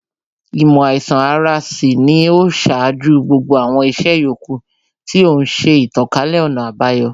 Īmò àīsan ara sì ni ó ṣáájú gbogbo àwọn ìṣe yòókù, tí ó ń ṣe ìtànkálẹ̀ ọ̀nà àbayọ